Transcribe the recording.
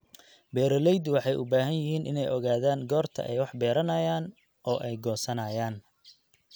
Beeraleydu waxay u baahan yihiin inay ogaadaan goorta ay wax beeranayaan oo ay goosanayaan.